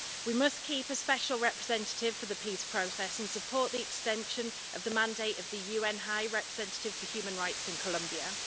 We must keep a special representative for the peace process and support the extension of the mandate of the UN High Commissioner for Human Rights in Colombia.